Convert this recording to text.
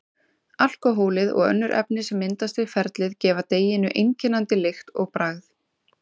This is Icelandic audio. Alkóhólið og önnur efni sem myndast við ferlið gefa deiginu einkennandi lykt og bragð.